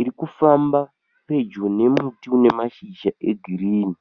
Iri kufamba pedyo nemuti une mashizha egirinhi.